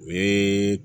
O ye